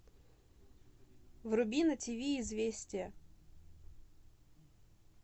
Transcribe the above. вруби на тиви известия